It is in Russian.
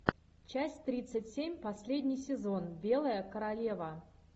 часть тридцать семь последний сезон белая королева